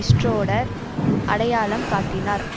Schroeder அடையாளம் காட்டினார்